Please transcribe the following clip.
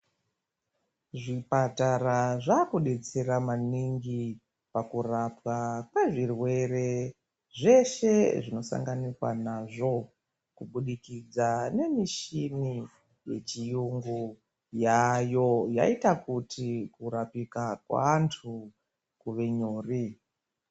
Zvipatara zvakudetsera maningi pakurapwa kwezvirwere zveshe zvinosanganikwa nazvo kubudikidza nemishini yechiyungu yaayo yaita kuti kurapika kweanthu kuve nyore.